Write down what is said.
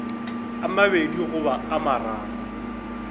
a mabedi goba a mararo